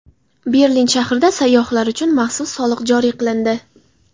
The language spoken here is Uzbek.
Berlin shahrida sayyohlar uchun maxsus soliq joriy qilindi.